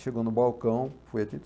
Chegou no balcão, foi